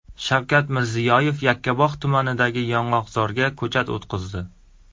Shavkat Mirziyoyev Yakkabog‘ tumanidagi yong‘oqzorga ko‘chat o‘tqazdi.